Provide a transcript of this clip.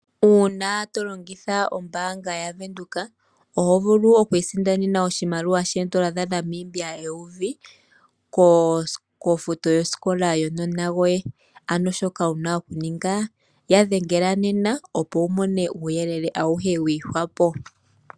Uuna tolongitha ombaanga ya Windhoek oto vulu okwiisindanena oondola dhaNamibia eyovi kofuto yosikola yokanona koye. Shoka wuna okuninga okuninga omakwatathano nayo opo wuvule okumona uuyelele.